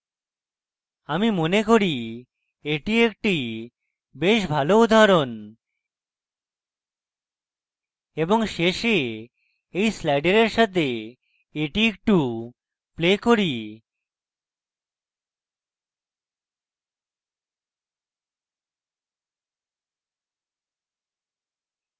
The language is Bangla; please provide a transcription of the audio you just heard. আমি মনে করি এটি একটি বেশ ভালো উদাহরণ এবং শেষে এই sliders সাথে একটি একটু play করি